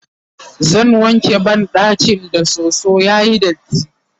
zan wanke banɗakin da soso yayi datti